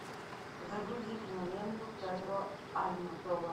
загрузи киноленту педро альмодовар